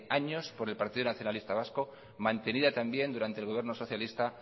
años por el partido nacionalista vasco mantenida también durante el gobierno socialista